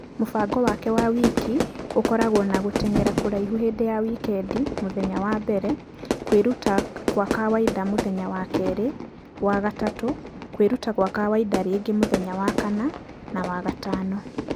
Mũbango wake wa wiki ũkoragwo na gũtengera kũraihu hĩndĩ ya wikendi , ....mũthenya wa mbere , kwĩrutakwakawaida mũthenya wa kerĩ ,....wa gatatũ , kwĩrutakwakawaida rĩngĩ mũthenya wa kana .....wa gatano.